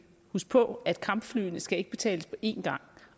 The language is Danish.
husk på at kampflyene ikke skal betales på en gang